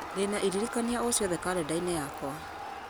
ndĩna iririkania o ciothe karenda-inĩ yakwa